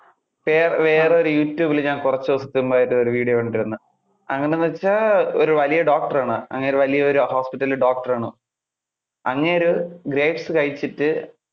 വേറെ~ വേറെഒരു youtube ഞാൻ കുറച്ചു ദിവസത്തിന് മുൻപ് ആയിട്ട് ഒരു video കണ്ടിരുന്നു. അത് എങ്ങനെ എന്ന് വെച്ചാൽ, ഒരു വലിയ doctor ആണ്, അങ്ങേരു വലിയ ഒരു hospital ല്‍ doctor ആണ്. അങ്ങേര് grapes കഴിച്ചിട്ട്.